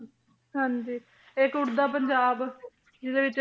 ਹਾਂਜੀ ਇੱਕ ਉੱਡਦਾ ਪੰਜਾਬ ਜਿਹਦੇ ਵਿੱਚ,